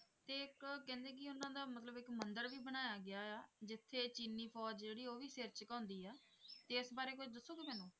ਤੇ ਇੱਕ ਕਹਿੰਦੇ ਕਿ ਉਹਨਾਂ ਦਾ ਮਤਲਬ ਇੱਕ ਮੰਦਿਰ ਵੀ ਬਣਾਇਆ ਗਿਆ ਆ, ਜਿੱਥੇ ਚੀਨੀ ਫ਼ੌਜ਼ ਜਿਹੜੀ ਆ ਉਹ ਵੀ ਸਿਰ ਝੁਕਾਉਂਦੀ ਆ, ਤੇ ਇਸ ਬਾਰੇ ਕੁੱਝ ਦੱਸੋਗੇ ਮੈਨੂੰ?